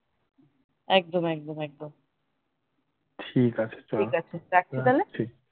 একদম একদম একদম একদম ঠিক আছে রাখছি তাহলে